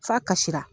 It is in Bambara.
F'a kasira